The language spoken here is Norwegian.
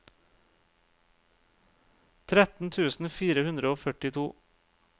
tretten tusen fire hundre og førtito